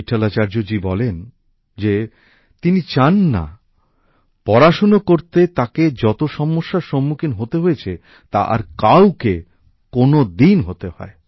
বিটঠলআচার্যজি বলেন যে তিনি চান না পড়শোনা করতে তাঁকে যত সমস্যার সম্মুখীন হতে হয়েছে তা আর কাউকে কোনদিন হতে হয়